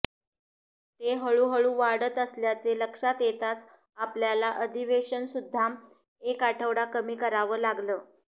ते हळूहळू वाढत असल्याचे लक्षात येताच आपल्याला अधिवेशनसुद्धा एक आठवडा कमी करावं लागलं